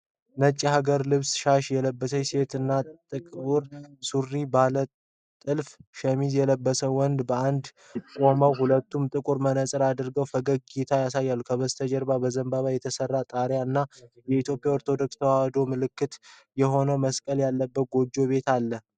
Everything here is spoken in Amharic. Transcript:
ነጭ የሀገር ልብስና ሻሽ የለበሰች ሴት እና ጥቁር ሱሪና ባለ ጥልፍ ሸሚዝ የለበሰ ወንድ በአንድነት ቆመዋል። ሁለቱም ጥቁር መነፅር አድርገው ፈገግታ ያሳያሉ። ከበስተጀርባ በዘንባባ የተሰራ ጣሪያ እና የኢትዮጵያ ኦርቶዶክስ ተዋህዶ ምልክት የሆነ መስቀል ያለበት ጎጆ ቤት አለ።